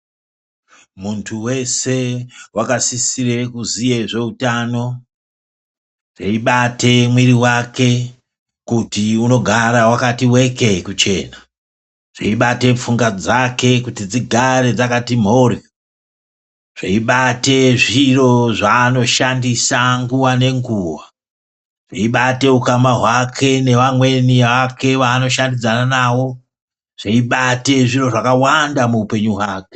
Muntu weshe wakasisira kuziya ngezveutano. Zveibate mwiri wake kuti unogara wakati wekee kuchena. Dzeibata pfungwa dzake kuti dzigare dzakati mhoryo. Zveibate zviro zvaanoshandisa nguwa nenguwa. Zveibate ukama hwake nevamweni vaanoshandidzana navo. Zveibate zviro zvakawanda muupenyu hwake.